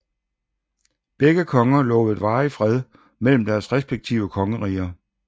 Begge konger lovede varig fred mellem deres respektive kongeriger